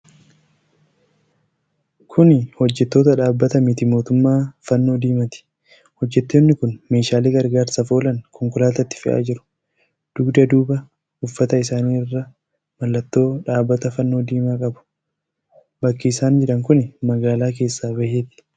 Kuni hojjattoota dhaabbata miti mootummaa Fannoo Diimaati. Hojjattoonni kun meeshaalee gargaarsaaf oolan konkolaatatti fe'aa jiru. dugda duuba uffata isaanii irra mallattoo dhaabbata fannoo diimaa qabu. Bakki isaan jiran kuni magaalaa keessaa baheeti.